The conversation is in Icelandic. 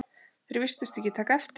Þeir virtust ekki taka eftir